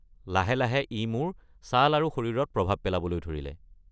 লাহে লাহে ই মোৰ ছাল আৰু শৰীৰত প্ৰভাৱ পেলাবলৈ ধৰিলে।